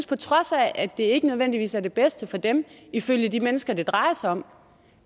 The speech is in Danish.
på trods af at det ikke nødvendigvis er det bedste for dem ifølge de mennesker det drejer sig om